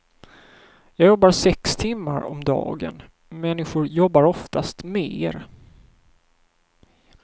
Jag jobbar sex timmar om dagen, människor jobbar oftast mer.